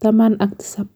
taman ak tisap